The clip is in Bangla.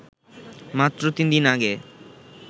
মাত্র তিন দিন আগে